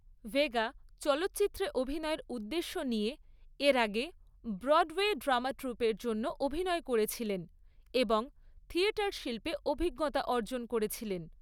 Vega চলচ্চিত্রে অভিনয়ের উদ্দেশ্য নিয়ে এর আগে ব্রডওয়ে ড্রামা ট্রুপের জন্য অভিনয় করেছিলেন এবং থিয়েটার শিল্পে অভিজ্ঞতা অর্জন করেছিলেন।